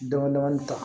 Damadɔni ta